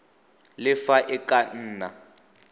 le fa e ka nna